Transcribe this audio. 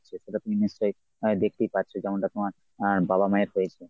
সেটা তুমি নিশ্চয়ই আহ দেখতেই পাচ্ছো যেমনটা তোমার আহ বাবা মায়ের হয়েছে।